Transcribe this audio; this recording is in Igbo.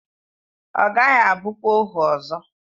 Ọ gaghị abụkwa ohu ọzọ.